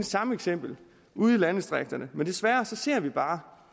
samme eksempel ude i landdistrikterne men desværre ser vi bare